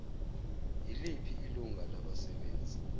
yiliphi ilungu labasebenzi